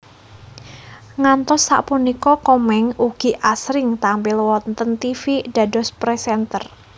Ngantos sapunika Komeng ugi asring tampil wonten tivi dados presenter